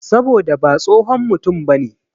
Saboda ha tsohon mutum bane.